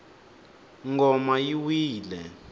ngoma yi wile